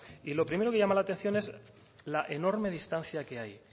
y lo primero que llama la atención es la enorme distancia que hay